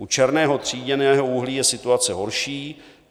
U černého tříděného uhlí je situace horší.